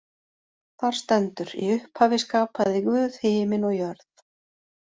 Þar stendur: Í upphafi skapaði Guð himin og jörð.